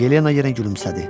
Yelena yenə gülümsədi.